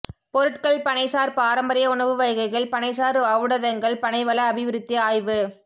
பொருட்கள் பனைசார் பாரம்பரிய உணவுவகைகள் பனைசார் ஓளடதங்கள் பனைவள அபிவிருத்தி ஆய்வு